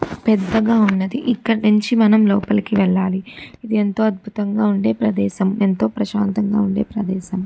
పెద్దగా ఉన్నది ఇక్కడ్నించి మనం లోపలికి వెళ్ళాలి ఇది ఎంతో అద్భుతంగా ఉండే ప్రదేశం ఏంతో ప్రశాంతంగా ఉండే ప్రదేశం.